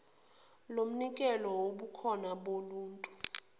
lomnikelo wobukhona boluntu